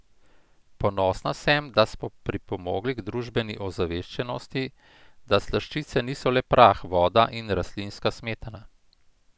Ponosna sem, da smo pripomogli k družbeni ozaveščenosti, da slaščice niso le prah, voda in rastlinska smetana.